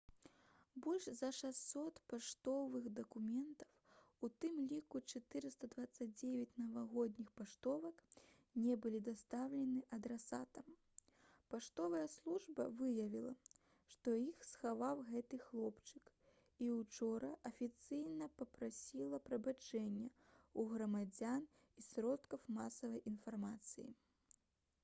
больш за 600 паштовых дакументаў у тым ліку 429 навагодніх паштовак не былі дастаўлены адрасатам паштовая служба выявіла што іх схаваў гэты хлопчык і ўчора афіцыйна папрасіла прабачэння ў грамадзян і сродкаў масавай інфармацыі